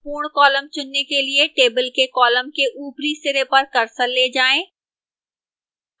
पूर्ण column चुनने के लिए table के column के ऊपरी सिरे पर cursor ले जाएं